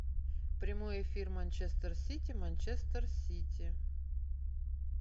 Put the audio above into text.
прямой эфир манчестер сити манчестер сити